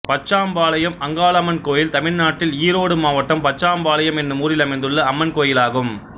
பச்சாம்பாளையம் அங்காளம்மன் கோயில் தமிழ்நாட்டில் ஈரோடு மாவட்டம் பச்சாம்பாளையம் என்னும் ஊரில் அமைந்துள்ள அம்மன் கோயிலாகும்